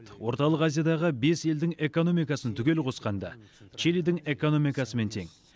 орталық азиядағы бес елдің экономикасын түгел қосқанда чилидің экономикасымен тең